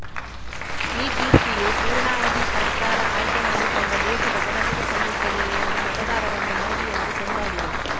ಈ ಕೀರ್ತಿಯು ಪೂರ್ಣಾವಧಿ ಸರ್ಕಾರ ಆಯ್ಕೆ ಮಾಡಿಕೊಂಡ ದೇಶದ ಜನತೆಗೆ ಸಲ್ಲುತ್ತದೆ ಎಂದು ಮತದಾರರನ್ನು ಮೋದಿ ಅವರು ಕೊಂಡಾಡಿದರು